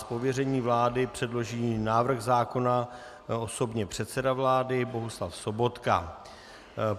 Z pověření vlády předloží návrh zákona osobně předseda vlády Bohuslav Sobotka.